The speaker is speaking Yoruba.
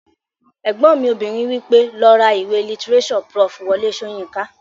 Ẹ̀gbọ́n mi obìnrin wí pé "lọ ra ìwé lítírésọ̀ Prof. Wọlé Sóyinká!"